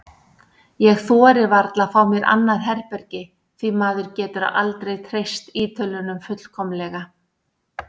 Ég þori varla að fá mér annað herbergi því maður getur aldrei treyst Ítölunum fullkomlega.